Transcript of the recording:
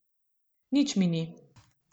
Nič mi ni.